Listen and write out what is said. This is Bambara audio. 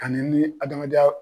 Ani ni adamadenya